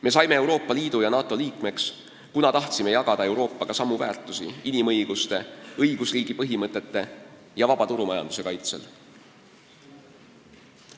Me saime Euroopa Liidu ja NATO liikmeks, kuna tahtsime jagada Euroopaga samu väärtusi inimõiguste, õigusriigi põhimõtete ja vaba turumajanduse kaitsel.